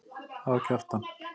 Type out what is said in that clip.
Það var Kjartan.